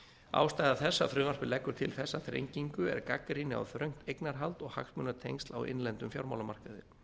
ástæða þess að frumvarpið leggur til þessa þrengingu er gagnrýni á þröngt eignarhald og hagsmunatengsl á innlendum fjármálamarkaði